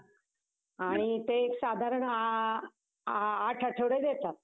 आणि ते साधारण आठवडे देतात.